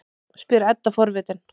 spyr Edda forvitin.